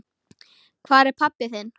Hvar er pabbi þinn?